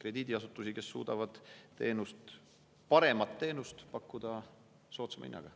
krediidiasutusi, mis suudavad pakkuda paremat teenust soodsama hinnaga.